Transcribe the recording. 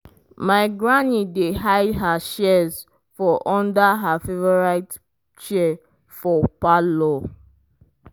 my granny dey hide her shears for under her favorite chair for parlor.